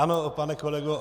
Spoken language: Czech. Ano, pane kolego